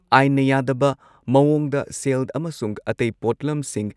ꯑꯥꯏꯟꯅ ꯌꯥꯗꯕ ꯃꯑꯣꯡꯗ ꯁꯦꯜ ꯑꯃꯁꯨꯡ ꯑꯇꯩ ꯄꯣꯠꯂꯝꯁꯤꯡ